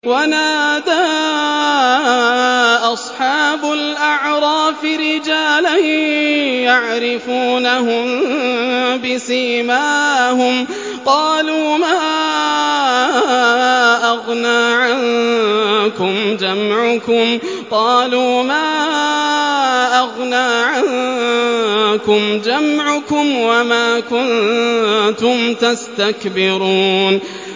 وَنَادَىٰ أَصْحَابُ الْأَعْرَافِ رِجَالًا يَعْرِفُونَهُم بِسِيمَاهُمْ قَالُوا مَا أَغْنَىٰ عَنكُمْ جَمْعُكُمْ وَمَا كُنتُمْ تَسْتَكْبِرُونَ